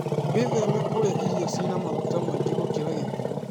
Wĩtheme kũrĩa irio cĩĩna maguta maingĩ gũkĩra gĩthimo.